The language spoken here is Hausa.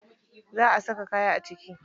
Za a saka kaya a ciki.